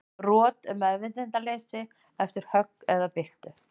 Rot er meðvitundarleysi eftir högg eða byltu.